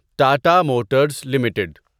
Tata Motors limited